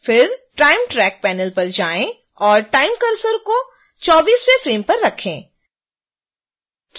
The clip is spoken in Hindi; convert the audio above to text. फिर time track panel पर जाएं और time cursor को 24वें फ्रेम पर रखें